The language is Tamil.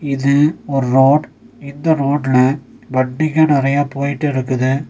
இது ஒரு ரோட் இந்த ரோட்ல வண்டிங்க நறையா போய்டு இருக்குது.